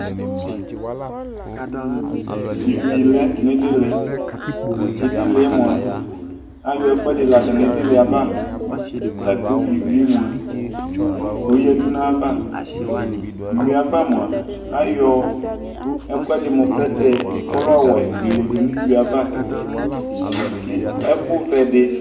Ewʋi lɛ iɖili Iɖiliɛ mʋa ayɔ ɛkʋɛɖi yaɖu ŋu iɖiliɛ ava lakʋ iwʋiɛ mʋa yaɖu ŋu ava Iwʋiɛ ava mʋa ayɔ ɛkʋɛɖi mu plɛtɛ kʋ ɔlɛ ɔwɛ yɔ yaɖu ŋu iwʋiɛ ava kʋ ɛku vɛ ɖi